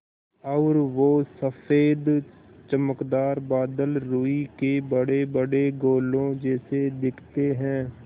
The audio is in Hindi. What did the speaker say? और वो सफ़ेद चमकदार बादल रूई के बड़ेबड़े गोलों जैसे दिखते हैं